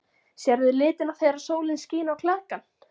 Sérðu litina þegar sólin skín á klakann?